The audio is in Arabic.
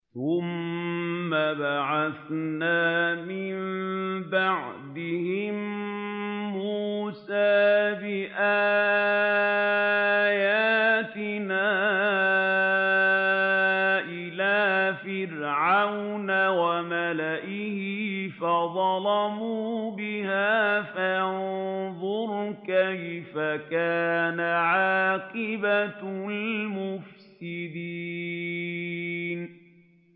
ثُمَّ بَعَثْنَا مِن بَعْدِهِم مُّوسَىٰ بِآيَاتِنَا إِلَىٰ فِرْعَوْنَ وَمَلَئِهِ فَظَلَمُوا بِهَا ۖ فَانظُرْ كَيْفَ كَانَ عَاقِبَةُ الْمُفْسِدِينَ